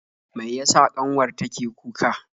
Mai yasa kanwar ta ke kuka?